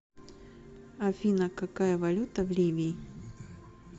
афина какая валюта в ливии